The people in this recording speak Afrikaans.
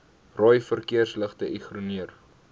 rooi verkeersligte ignoreer